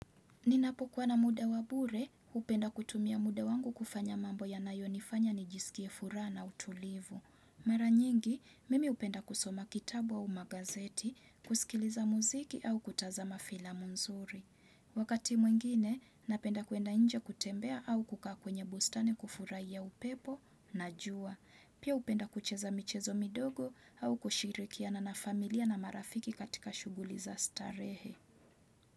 Ninapokuwa na muda wa bure, hupenda kutumia muda wangu kufanya mambo yanayo nifanya nijisikie furaha na utulivu. Mara nyingi, mimi hupenda kusoma kitabu au magazeti, kusikiliza muziki au kutazama filamu nzuri. Wakati mwengine, napenda kuenda nje kutembea au kukaa kwenye bustani kufurahia upepo na jua. Pia hupenda kucheza michezo midogo au kushirikiana na familia na marafiki katika shughuli za starehe.